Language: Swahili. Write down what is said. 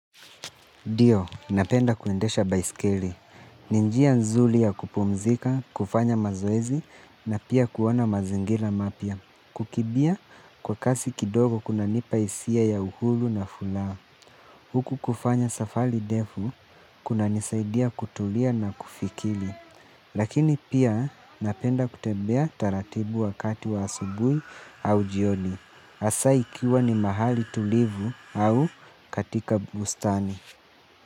Ndiyo, napenda kuendesha baiskeli. Ni njia nzuri ya kupumzika, kufanya mazoezi na pia kuona mazingira mapya. Kukimbia kwa kasi kidogo kuna nipa hisia ya uhuru na furaha. Huku kufanya safari ndefu, kuna nisaidia kutulia na kufikili. Lakini pia napenda kutembea taratibu wakati wa asubuhi au jioni. Hasa ikiwa ni mahali tulivu au katika bustani.